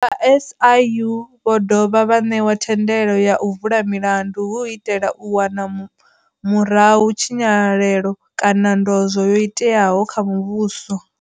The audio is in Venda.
Vha SIU vho dovha vha ṋewa thendelo ya u vula milandu hu u itela u wana murahu tshinyalelo kana ndozwo yo iteaho kha muvhuso.